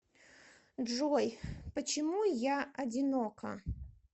джой почему я одинока